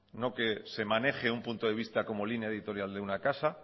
no que se maneje un punto de vista como línea editorial de una casa